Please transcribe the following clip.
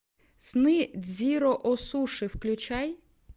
сны дзиро о суши включай